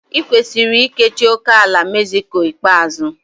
I kwesiri ikechi ókèala Mexico ikpeazụ.